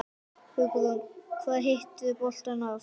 Hugrún: Hvað hittirðu boltann oft?